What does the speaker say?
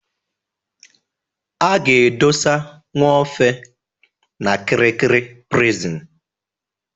A ga-edosa Nwofe n'Kirikiri Prison.